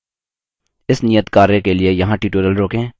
इस नियतकार्य के लिए यहाँ tutorial रोकें